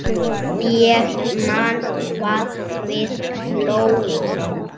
Ég man hvað við hlógum.